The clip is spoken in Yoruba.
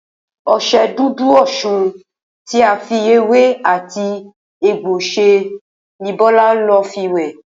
O̩s̩e̩ Dúdú Osùn tí a fi ewé àti egbò s̩e ni Bó̩lá ń lò fi wè̩